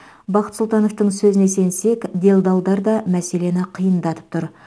бақыт сұлтановтың сөзін сенсек делдалдар да мәселені қиындатып тұр